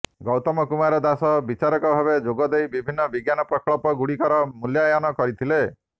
ଗୈାତମ କୁମାର ଦାସ ବିଚାରକ ଭାବେ ଯୋଗଦେଇ ବିଭିନ୍ନ ବିଜ୍ଞାନ ପ୍ରକଳ୍ପ ଗୁଡିକର ମୁଲ୍ୟାୟନ କରିଥିଲେ